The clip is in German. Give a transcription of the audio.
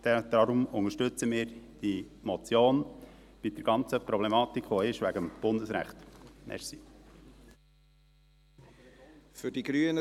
Deshalb unterstützen wir die Motion angesichts der ganzen Problematik, die mit dem Bundesrecht besteht.